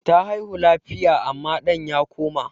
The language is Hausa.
Ta haihu lafiya amma ɗan ya koma.